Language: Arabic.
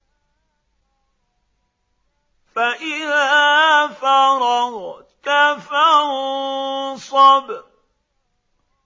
فَإِذَا فَرَغْتَ فَانصَبْ